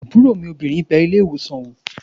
Àbúrò mi obìnrin bẹ ilé-ìwòsàn wò